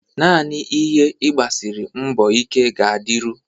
Naanị ihe ị gbasiri mbọ ike ga-adịru